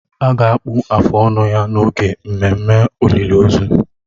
A ga-akpụ afụ ọnụ ya n'oge ememme olịlị ozu.